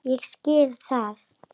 Ég skil það!